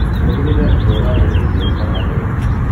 Tigagirirĩa irio urarĩa ni theru kana njega